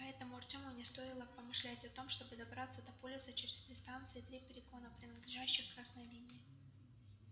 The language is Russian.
поэтому артему не стоило и помышлять о том чтобы добраться до полиса через три станции и три перегона принадлежащих красной линии